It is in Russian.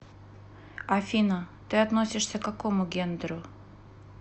афина ты относишься к какому гендеру